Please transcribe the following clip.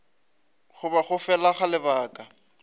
goba go fela ga lebaka